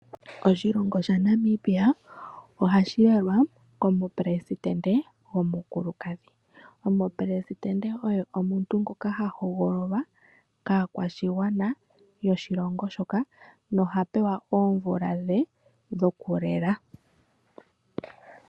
Oshilongo sha Namibia ohashi lelwa komupelesindente omukulukadhi. Omupelesindente oye omuntu ngokaha hogololwa kaakwashigwana yoshilongo shoka, noha pewa oomvula dhe dhokulela.